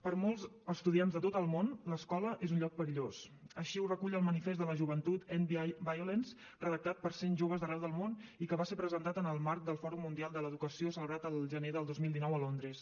per molts estudiants de tot el món l’escola és un lloc perillós així ho recull el manifest de la joventut endviolence redactat per cent joves d’arreu del món i que va ser presentat en el marc del fòrum mundial de l’educació celebrat el gener del dos mil dinou a londres